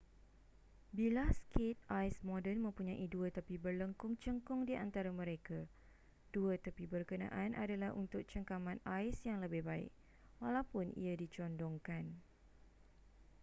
bilah skate ais moden mempunyai dua tepi berlengkung cengkung di antara mereka dua tepi berkenaan adalah untuk cengkaman ais yang lebih baik walaupun ia dicondongkan